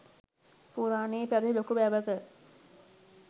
පුරාණයේ පැවැති ලොකු වැවක